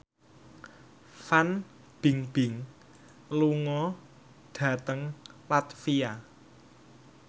Fan Bingbing lunga dhateng latvia